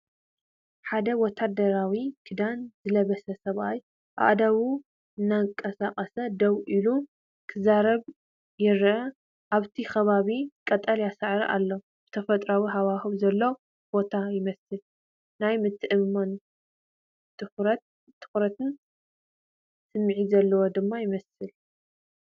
ሓደ ወተሃደራዊ ክዳን ዝለበሰ ሰብኣይ ኣእዳዉ እናንቀሳቐሰ ደው ኢሉ ክዛረብ ይርአ። ኣብቲ ከባቢ ቀጠልያ ሳዕሪ ኣሎ፣ ተፈጥሮኣዊ ሃዋህው ዘለዎ ቦታ ይመስል። ናይ ምትእምማንን ትኹረትን ስምዒት ዘለዎ ድማ ይመስል።